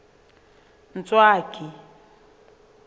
ntswaki